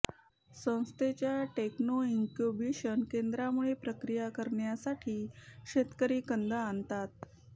संस्थेच्या techno incubation केंद्रामध्ये प्रक्रिया करण्यासाठी शेतकरी कंद आणतात